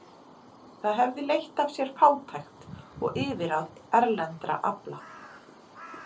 Það hefði leitt af sér fátækt og yfirráð erlendra afla.